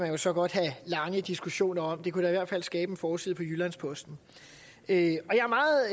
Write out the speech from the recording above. jo så godt have lange diskussioner om det kunne da i hvert fald skabe en forside på jyllands posten jeg er meget